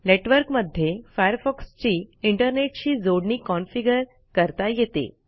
network मध्ये Firefoxची इंटरनेटशी जोडणी कॉन्फिगर करता येते